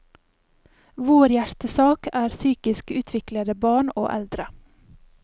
Vår hjertesak er psykisk utviklede barn og eldre.